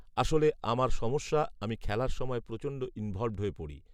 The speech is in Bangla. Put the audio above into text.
আসলে, আমার সমস্যা আমি খেলার সময় প্রচণ্ড ইনভল্ভড হয়ে পড়ি